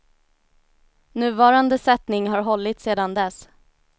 Nuvarande sättning har hållit sedan dess.